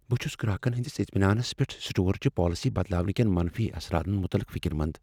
بہٕ چُھس گراكن ہندِس اطمیناننس پٮ۪ٹھ سٹور چہِ پالسی بدلاونہٕ کین منفی اثراتن مطلق فکر مند ۔